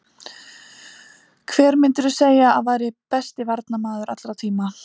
Hver myndirðu segja að væri besti varnarmaður allra tíma?